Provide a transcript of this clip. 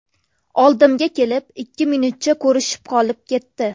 Oldimga kelib, ikki minutcha ko‘rishib qolib ketdi.